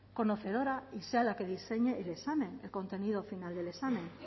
conocedora y sea la que diseñe el examen el contenido final del examen